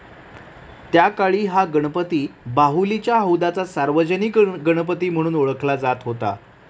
त्याकाळी हा गणपती बाहुलीच्या हौदाचा सार्वजनिक गणपती म्हणून ओळखला जात होता.